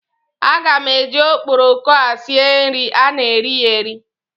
Aga m eji okporoko a sie nri, a na eri ya eri.